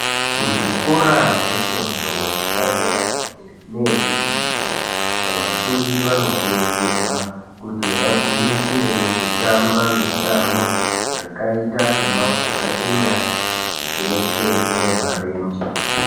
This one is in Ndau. Kuzvikora zvefundo yepadera dera neyechipiri vafundi vanokurudzirwa kuti vagwinyisirewo kutamba mitambo yakaita seyemabhora enyara zveshe neemarenje.